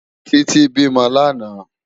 Titi bi mò làná